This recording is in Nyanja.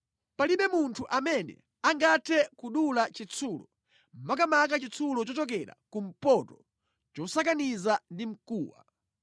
“Palibe munthu amene angathe kudula chitsulo, makamaka chitsulo chochokera kumpoto chosakaniza ndi mkuwa.